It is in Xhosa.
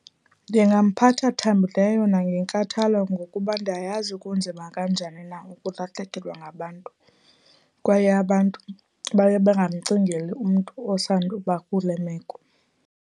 Ndingamphatha thambileyo nangenkathalo ngokuba ndayazi kunzima kanjani na ukulahlekelwa ngabantu, kwaye abantu baye bangamcingeli umntu osanduba kule meko.